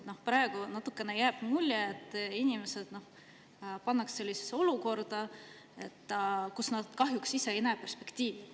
" Praegu jääb natukene mulje, et inimesed pannakse sellisesse olukorda, kus nad kahjuks ise perspektiivi ei näe.